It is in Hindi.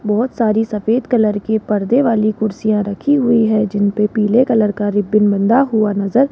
बहोत सारी सफेद कलर की पर्दे वाली कुर्सियां रखी हुई है जिनपे पीले कलर का रिबन बंधा हुआ नज़र --